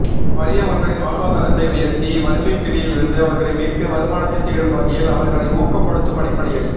வறிய மக்களின் வாழ்வாதாரத்தை உயர்த்தி வறுமைப் பிடியிலிருந்து அவர்களை மீட்டு வருமானத்தை தேடும் வகையில் அவர்களை ஊக்கப் படுத்தும் அடிப்படையில்